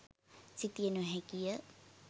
සිතිය නොහැකිය.